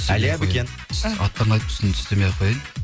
әлия бөкен аттарын айтып түсін түстемей ақ қояйын